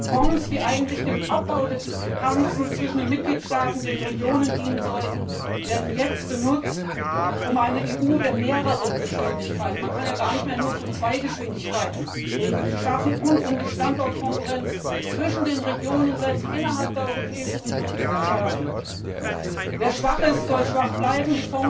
Fonds, die eigentlich dem Abbau der Diskrepanzen zwischen den Mitgliedstaaten, den Regionen dienen sollten, werden jetzt benutzt, um eine EU der mehreren Geschwindigkeiten man kann ja gar nicht mehr nur von zwei Geschwindigkeiten reden zu schaffen und um die Standortkonkurrenz zwischen den Regionen selbst innerhalb der Europäischen Union zu verschärfen. Wer schwach ist, soll schwach bleiben.